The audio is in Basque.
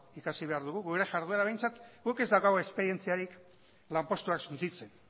ikasi behar dugu gure jarduera behintzat guk ez daukagu esperientzarik lanpostuak suntsitzen